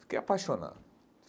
Fiquei apaixonado.